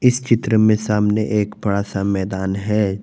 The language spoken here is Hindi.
इस चित्र में सामने एक बड़ा सा मैदान है।